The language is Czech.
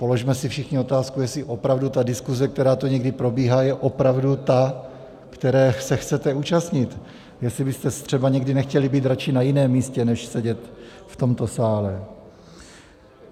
Položme si všichni otázku, jestli opravdu ta diskuze, která tu někdy probíhá, je opravdu ta, které se chcete účastnit, jestli byste třeba někdy nechtěli být raději na jiném místě, než sedět v tomto sále.